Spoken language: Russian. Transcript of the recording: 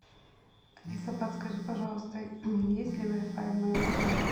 алиса подскажи пожалуйста есть ли вай фай в моем отеле